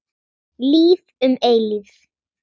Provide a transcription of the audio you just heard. Líf um eilífð.